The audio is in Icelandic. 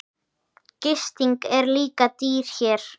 Gisting er líka dýr hér.